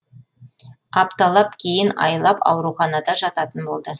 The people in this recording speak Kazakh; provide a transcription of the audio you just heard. апталап кейін айлап ауруханада жататын болды